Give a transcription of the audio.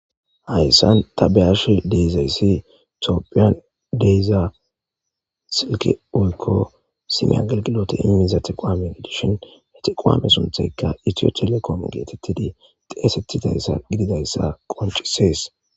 Hayisan ta be ashe dizayisi tophiya de,iza silke woyiko sime agelgilote imida teqowame gidishin tequwame sunthayika itio telecome getetizi xesetizayisa gidizayisa qonc, ises